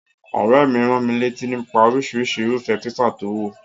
Òréè mi ránmilátí nípa orísirísi irúfé paper to wò